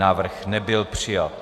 Návrh nebyl přijat.